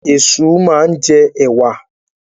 Ẹ̀ṣu máa ń jẹ ẹ̀wà.